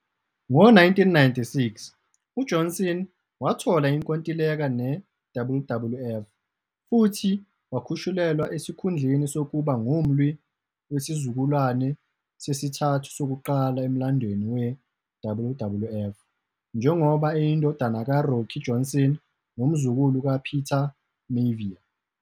Ngo-1996, uJohnson wathola inkontileka neWWF futhi wakhushulelwa esikhundleni sokuba ngumlwi wesizukulwane sesithathu sokuqala emlandweni weWWF, njengoba eyindodana kaRocky Johnson nomzukulu kaPeter Maivia.